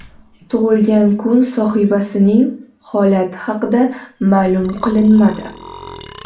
Tug‘ilgan kun sohibasining holati haqida ma’lum qilinmadi.